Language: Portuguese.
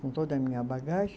Com toda a minha bagagem.